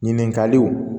Ɲininkaliw